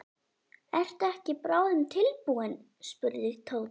Ertu ekki bráðum tilbúinn? spurði Tóti.